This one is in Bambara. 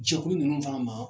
Jɛkulu ninnu fana ma